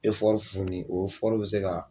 , o bɛ se ka